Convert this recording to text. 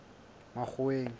makgoweng